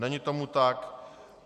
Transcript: Není tomu tak.